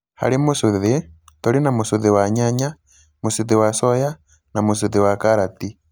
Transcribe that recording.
Harĩ mũcũthi, tũrĩ na mũcũthi wa nyanya, mũcũthi wa coya, na mũcũthi wa karati.